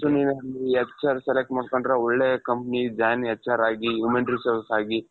so ನೀನು ಅಲ್ಲಿ HR select ಮಾಡ್ಕೊಂಡ್ರೆ ಒಳ್ಳೆ company join HRಆಗಿ human resource ಆಗಿ .